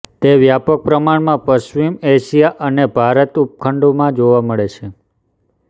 તે વ્યાપક પ્રમાણમાં પશ્ચિમ એશિયા અને ભારત ઉપખંડમાં જોવા મળે છે